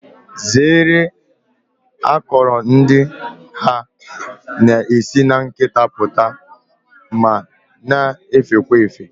Zeere akọrọ ndị ha na-esi na nkịta pụta ma na-efekwa efe